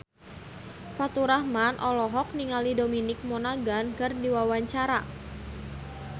Faturrahman olohok ningali Dominic Monaghan keur diwawancara